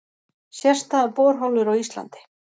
Sérstæðar borholur á Íslandi